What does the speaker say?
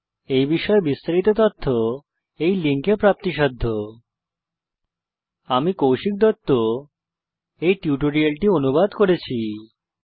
এই বিষয় বিস্তারিত তথ্য এই লিঙ্কে প্রাপ্তিসাধ্য spoken hyphen tutorial dot org slash NMEICT hyphen intro আমি কৌশিক দত্ত এই টিউটোরিয়ালটি অনুবাদ করেছি